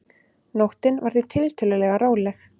Nóttin var því tiltölulega róleg